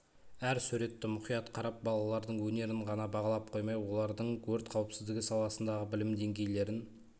әр суретті мұқият қарап балалардың өнерін ғана бағалап қоймай олардың өрт қауіпсіздігі саласындағы білім деңгейлерін